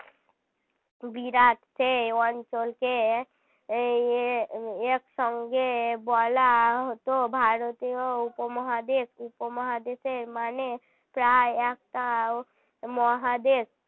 বিরাট সেই অঞ্চলকে এ~ এর সঙ্গে বলা হত ভারতীয় উপমহাদেশ উপমহাদেশের মানে প্রায় একটা মহাদেশ